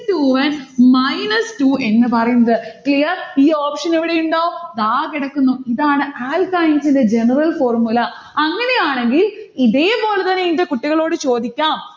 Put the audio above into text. two n minus two എന്ന് പറയുന്നത്. clear? ഈ option ഇവിടെയുണ്ടോ? ദാ കിടക്കുന്നു. ഇതാണ് alkynes ന്റെ general formula അങ്ങനെയാണെങ്കിൽ ഇതേപോലെതന്നെ ഇന്റെ കുട്ടികളോട് ചോദിക്കാം.